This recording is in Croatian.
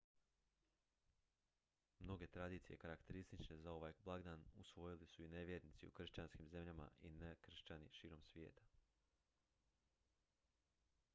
mnoge tradicije karakteristične za ovaj blagdan usvojili su i nevjernici u kršćanskim zemljama i nekršćani širom svijeta